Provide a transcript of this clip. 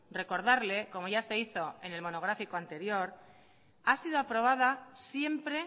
recordarle como ya se hizo en el monográfico anterior ha sido aprobada siempre